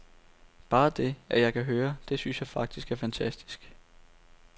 Bare det, at jeg kan høre, det synes jeg faktisk er fantastisk.